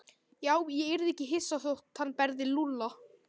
Já, ég yrði ekki hissa þótt hann berði Lúlla.